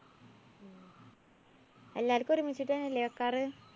എല്ലാര്‍ക്കും ഒരുമിച്ച് തന്നയല്ലേ വെക്കാറ്?